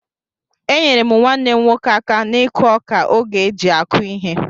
Enyere m nwannem nwoke aka n'ikụ ọka oge eji akụ ihe.